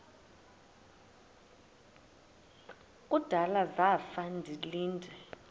kudala zafa ndilinde